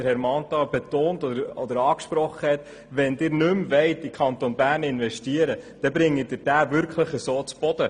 Wenn Sie nicht mehr in den Kanton Bern investieren wollen, bringen Sie diesen damit zu Boden.